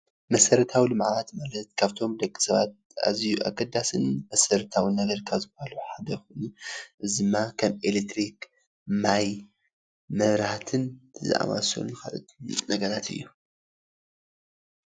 መሰራታዊ ልምዓት ማለት ካብቶም ደቂ ሰባት ኣዝዩ ኣገዳሲን መሰራታዊ ነገር ካብ ዝባሃሉ ሓደ እዚ ድማ ከም ኤሌትሪክ፣ ማይ፣ ማብራህቲን ዝኣምሰሉ ነገራት እዮም፡፡